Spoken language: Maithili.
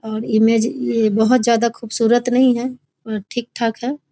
और इमेज ये बहुत ज्यादा खूबसूरत नहीं है पर ठीक-ठाक है।